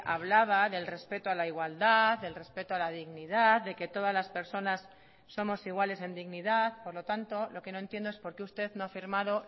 hablaba del respeto a la igualdad del respeto a la dignidad de que todas las personas somos iguales en dignidad por lo tanto lo que no entiendo es porque usted no ha firmado